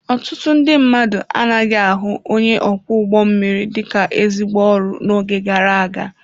Ọtụtụ ndị mmadụ anaghị ahụ onye ọkwọ ụgbọ mmiri dị ka ezigbo ọrụ n'oge gara aga.